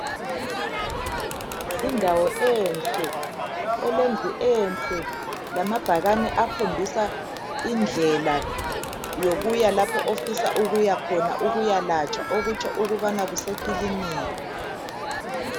Indawo enhle elendlu enhle lamabhakani akhombisa indlela yokuya lapho ofisa ukuya khona ukuyalatshwa okutsho ukubana kusekilinika.